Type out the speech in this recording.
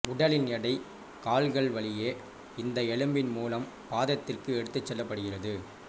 உடலின் எடை கால்கள் வழியே இந்த எலும்பின் மூலம் பாதத்திற்கு எடுத்துச் செல்லப்பபடுகிறது